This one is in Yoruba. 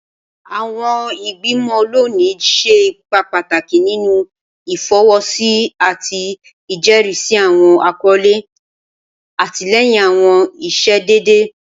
Awọn igbimọ loni ṣe ipa pataki ninu ifọwọsi ati ijẹrisi awọn akọle, atilẹyin awọn iṣedede.